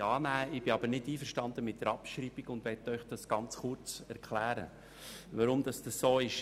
Ich bin jedoch nicht einverstanden mit der Abschreibung, und möchte Ihnen ganz kurz erläutern, weshalb dies so ist.